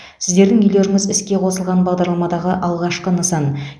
сіздердің үйлеріңіз іске қосылған бағдарламадағы алғашқы нысан